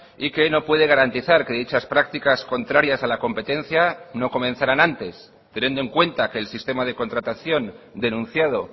y que no puede garantizar que dichas prácticas contrarias a la competencia no comenzaran antes teniendo en cuenta que el sistema de contratación denunciado